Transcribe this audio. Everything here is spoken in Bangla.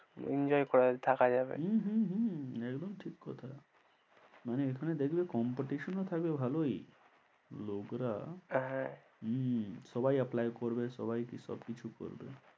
Enjoy করে থাকা যাবে হম একদম ঠিক কথা, মানে এখানে দেখবে competition ও থাকবে ভালোই, লোকরা হ্যাঁহম সবাই apply করবে সবাই সব কিছু করবে।